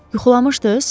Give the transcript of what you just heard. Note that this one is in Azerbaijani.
Yuxulamışdınız?